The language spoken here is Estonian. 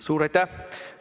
Suur aitäh!